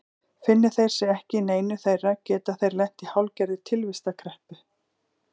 Finni þeir sig ekki í neinu þeirra geta þeir lent í hálfgerðri tilvistarkreppu.